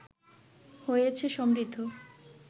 হয়েছে সমৃদ্ধ